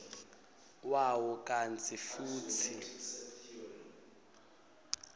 wawo kantsi futsi